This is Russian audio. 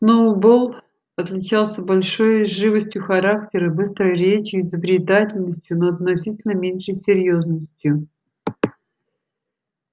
сноуболл отличался большей живостью характера быстрой речью и изобретательностью но относительно меньшей серьёзностью